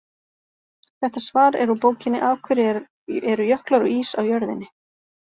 Þetta svar er úr bókinni Af hverju eru jöklar og ís á jörðinni?